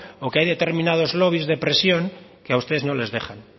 o que hay determinados lobbies de presión que a ustedes no les dejan